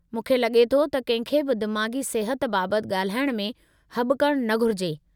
मूंखे लॻे थो त कंहिं खे बि दिमाग़ी सिहत बाबति ॻाल्हाइणु में हॿकणु न घुरिजे।